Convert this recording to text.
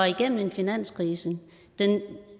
igennem en finanskrise